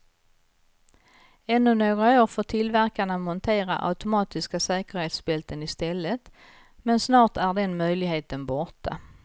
Ännu några år får tillverkarna montera automatiska säkerhetsbälten i stället, men snart är den möjligheten borta.